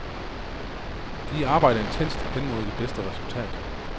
De arbejder intenst hen mod det bedste resultat.